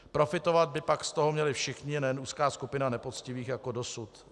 Profitovat by pak z toho měli všichni, nejen úzká skupina nepoctivých jako dosud.